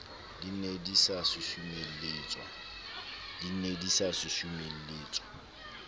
di ne di sa susumeletswa